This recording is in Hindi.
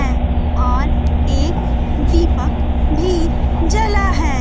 हैं और एक दीपक भी जला है।